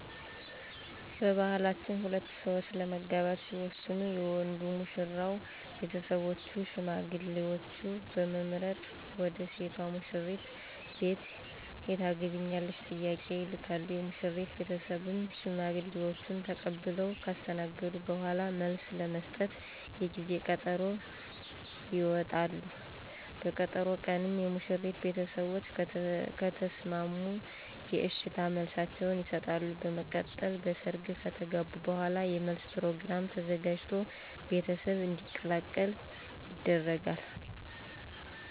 በባህላችን ሁለት ሠዎች ለመጋባት ሲወስኑ የወንዱ (ሙሽራው ) ቤተሰቦች ሽማግሌዎችን በመምረጥ ወደ ሴቷ (ሙሽሪት) ቤት የታገቢኛለሽ ጥያቄ ይልካሉ፤ የሙሽሪት ቤተሰብም ሽማግሌዎችን ተቀብለው ካስተናገዱ በኋላ መልስ ለመስጠት የጊዜ ቀጠሮ ይወጣሉ፤ በቀጠሮ ቀንም የሙሽሪት ቤተሰቦች ከተሰማሙ የእሽታ መልሳቸውን ይሠጣሉ፤ በመቀጠል በሰርግ ከተጋቡ በኋላ የመለስ ፕሮግራም ተዘጋጅቶ ቤተሰብ እንዲቀላቀል ይደረጋል።